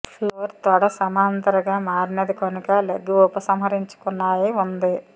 floor తొడ సమాంతర గా మారినది కనుక లెగ్ ఉపసంహరించుకున్నాయి ఉంది